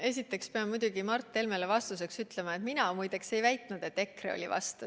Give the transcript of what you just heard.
Esiteks ma pean Mart Helmele vastuseks ütlema, et mina ei väitnud, et EKRE oli vastu.